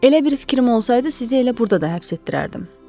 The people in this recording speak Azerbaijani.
Elə bir fikrim olsaydı, sizi elə burda da həbs etdirərdim.